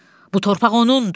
Bu torpaq onundur.